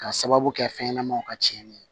K'a sababu kɛ fɛn ɲɛnamaw ka tiɲɛni ye